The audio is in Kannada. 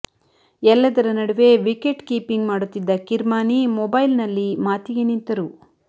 ಎಲ್ಲದರ ನಡುವೆ ವಿಕೆಟ್ ಕೀಪಿಂಗ್ ಮಾಡುತ್ತಿದ್ದ ಕಿರ್ಮಾನಿ ಮೊಬೈಲ್ನಲ್ಲಿ ಮಾತಿಗೆ ನಿಂತರು